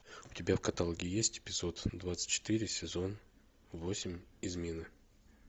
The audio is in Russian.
у тебя в каталоге есть эпизод двадцать четыре сезон восемь измена